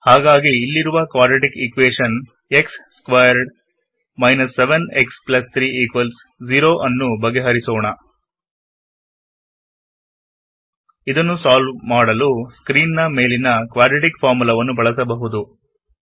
ಹಾಗಾಗಿ ಇಲ್ಲಿರುವ quadratic equation x square 7x30 ನ್ನು ಬಗೆಹರಿಸೋಣ ಇದನ್ನು ಸಾಲ್ವ್ ಮಾಡಲು ಸ್ಕ್ರೀನ್ ನ ಮೇಲಿನ ಕ್ವಾಡ್ರಾಟಿಕ್ ಫಾರ್ಮುಲಾವನ್ನು ಬಳಸಬಹುದು